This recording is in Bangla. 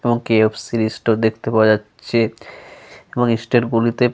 এবং কে.এফ.সি. .-র ইস্টোর দেখতে পাওয়া যাচ্ছে। এবং ইস্টেট গুলিতে।